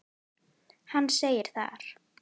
Hann segir þar